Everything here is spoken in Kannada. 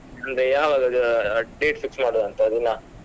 ಅಂದ್ರೆ ಯಾವಾಗ ಅದ್ date fix ಮಾಡುವ ಅಂತ ದಿನ.